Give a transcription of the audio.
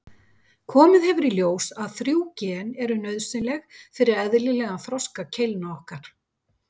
Komið hefur í ljós að þrjú gen eru nauðsynleg fyrir eðlilegan þroska keilna okkar.